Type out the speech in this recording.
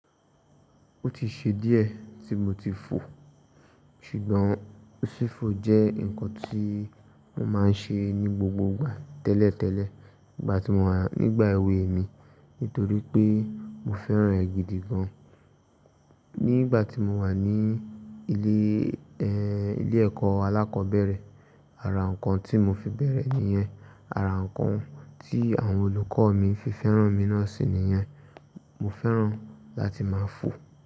Ó ti ṣe díẹ̀ tí mo ti fò, ṣùgbọ́n fífò jẹ́ ǹkan tí mo máa ń ṣe ní gbogbo ìgbà tẹ́lẹ̀tẹ́lẹ̀ nígbà tí mo wà nígbà èwe mi nítorí pé mo fẹ́ràn è gídì gan. Nígbà tí mo wà ní ilé, ẹ, ilé ẹ̀kọ́ alákọ̀ọ́bẹ̀rẹ̀, ara ǹkan tí mo fi bẹ̀rẹ̀ níyẹn, ara ǹkan tí àwọn olùkọ́ mi fi fẹ́ràn mi náà sì niyẹn. Mo fẹ́ràn láti máa fò.